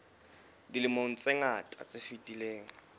dilemong tse ngata tse fetileng